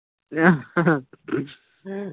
ਆਹ